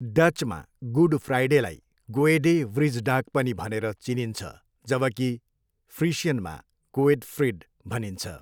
डचमा good फ्राइडेलाई गोएडे वृजडाग पनि भनेर चिनिन्छ जबकि फ्रिसियनमा गोएडफ्रिड भनिन्छ।